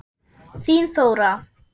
Þín Þóra.